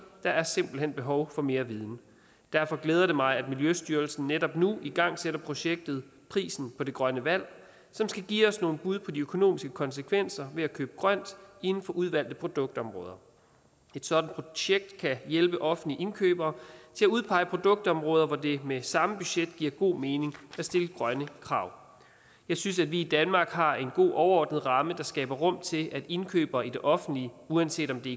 der er simpelt hen behov for mere viden derfor glæder det mig at miljøstyrelsen netop nu igangsætter et projekt om prisen for det grønne vand som skal give os nogle bud på de økonomiske konsekvenser ved at købe grønt inden for udvalgte produktområder et sådant projekt kan hjælpe offentlige indkøbere til at udpege produktområder hvor det med samme budget giver god mening at stille grønne krav jeg synes at vi i danmark har en god overordnet ramme der skaber rum til at indkøbere i det offentlige uanset om det